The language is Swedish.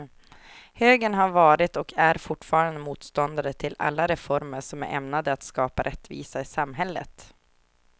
Högern har varit och är fortfarande motståndare till alla reformer som är ämnade att skapa rättvisa i samhället.